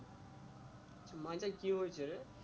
মাথায় কি হয়েছে রে?